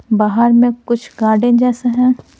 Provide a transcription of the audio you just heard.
बाहर में कुछ गार्डन जैसे हैं।